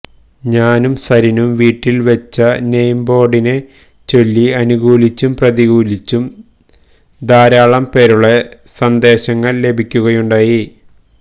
ഞാനും സരിനും വീട്ടിൽ വെച്ച നെയിം ബോർഡിനെ ചൊല്ലി അനുകൂലിച്ചും പ്രതികൂലിച്ചും ധാരാളം പേരുടെ സന്ദേശങ്ങൾ ലഭിക്കുകയുണ്ടായി